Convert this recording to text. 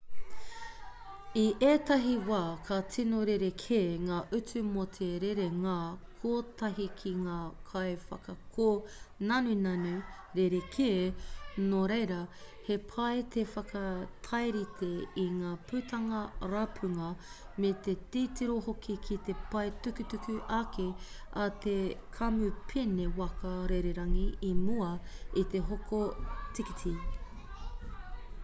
i ētahi wā ka tino rerekē ngā utu mō te rerenga kotahi ki ngā kaiwhakakōnanunanu rerekē nō reira he pai te whakatairite i ngā putanga rapunga me te titiro hoki ki te pae tukutuku ake a te kamupene waka rererangi i mua i te hoko tīkiti